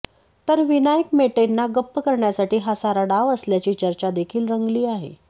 तर विनायक मेटेंना गप्प करण्यासाठी हा सारा डाव असल्याची चर्चा देखील रंगली आहे